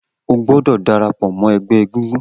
O gbọdọ darapọ mọ ẹgbẹ egungun